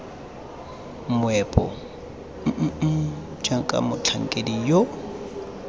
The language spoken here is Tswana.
meepo mmm jaaka motlhankedi yo